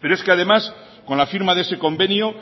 pero es que además con la firma de ese convenio